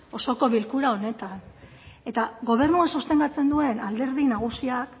osoko bilkura honetan eta gobernua sostengatzen duen alderdi nagusiak